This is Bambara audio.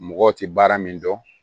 Mɔgɔw tɛ baara min dɔn